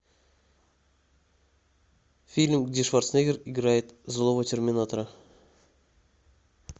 фильм где шварценеггер играет злого терминатора